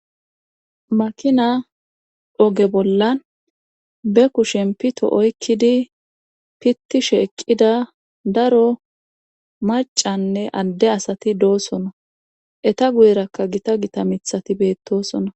Makina oge bollan be kushen pito oykkidi pittishe eqqida daro macanne adde asati doosona eta guyerakka gita gita mithati beettosona